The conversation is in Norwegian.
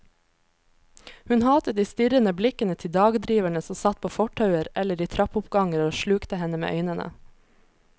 Hun hatet de strirrende blikkende til dagdriverne som satt på fortauer eller i trappeoppganger og slukte henne med øynene.